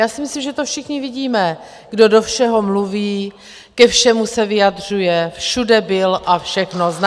Já si myslím, že to všichni vidíme, kdo do všeho mluví, ke všemu se vyjadřuje, všude byl a všechno zná.